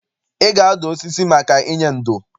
Ị ga-adụ osisi maka inye ndo!